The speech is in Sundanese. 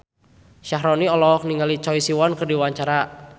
Syaharani olohok ningali Choi Siwon keur diwawancara